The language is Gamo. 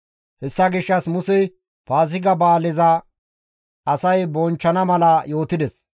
Hessa gishshas Musey Paaziga ba7aaleza asay bonchchana mala yootides.